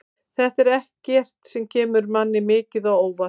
Þetta er ekkert sem kemur manni mikið á óvart.